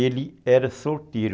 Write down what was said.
Ele era solteiro.